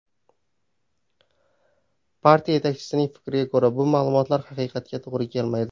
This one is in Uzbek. Partiya yetakchisining fikriga ko‘ra, bu ma’lumotlar haqiqatga to‘g‘ri kelmaydi.